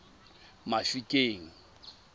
mafikeng